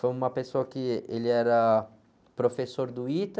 Foi uma pessoa que ele era professor do ITA,